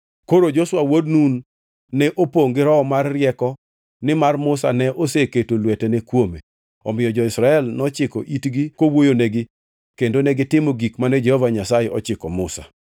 Koro Joshua wuod Nun ne opongʼ gi roho mar rieko nimar Musa ne oseketo lwetene kuome. Omiyo jo-Israel nochiko itgi kowuoyonegi kendo negitimo gik mane Jehova Nyasaye ochiko Musa.